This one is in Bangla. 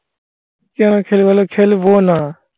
কেন খেলবো না? খেলবো না.